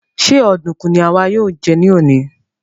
Ṣe ọdunkun ni àwa yóò jẹ ní òní?